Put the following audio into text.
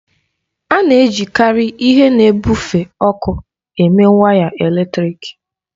A na-ejikarị ihe na-ebufe ọkụ eme waya eletrịk